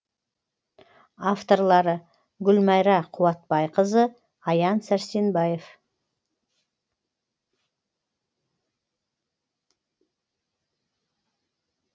авторлары гүлмайра қуатбайқызы аян сәрсенбаев